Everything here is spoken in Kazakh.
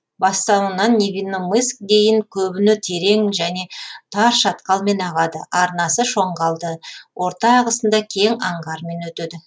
бастауынан невинномыск дейін көбіне терең және тар шатқалмен ағады арнасы шоңғалды орта ағысында кең аңғармен өтеді